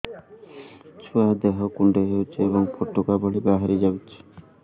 ଛୁଆ ଦେହ କୁଣ୍ଡେଇ ହଉଛି ଏବଂ ଫୁଟୁକା ଭଳି ବାହାରିଯାଉଛି